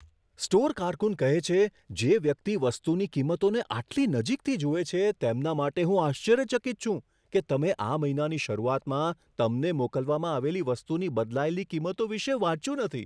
Store કારકુન કહે છે, જે વ્યક્તિ વસ્તુની કિંમતોને આટલી નજીકથી જુએ છે, તેમના માટે હું આશ્ચર્યચકિત છું કે તમે આ મહિનાની શરૂઆતમાં તમને મોકલવામાં આવેલી વસ્તુની બદલાયેલી કિંમતો વિશે વાંચ્યું નથી.